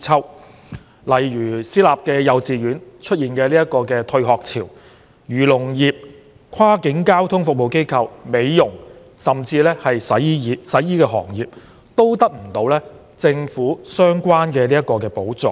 舉例說，私立幼稚園出現"退學潮"，而漁農業、跨境交通服務機構、美容業甚至洗衣業均得不到政府相關的補助。